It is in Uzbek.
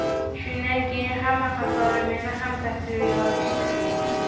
Shundan keyin hamma qatori meni ham tasvirga olishdi.